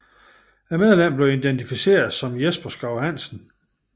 Medlemmet blev identificeret som Jesper Schou Hansen